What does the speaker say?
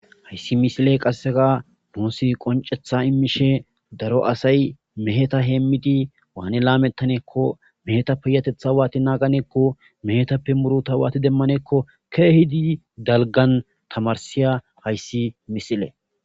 hayssi misile qasseka muusi qoncetha imishe daro asay meheta heemmidi waane laamettaneekko meheta piyatetha waati naaganeekko mehetappe muruta waati demmanekko keehidi dalgan tamarsiya hayssi misile